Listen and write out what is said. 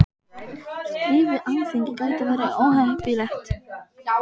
Stríð við Alþingi gæti verið óheppilegt